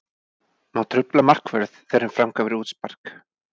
Má trufla markvörð þegar hann framkvæmir útspark?